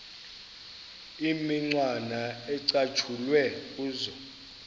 imicwana ecatshulwe kuzo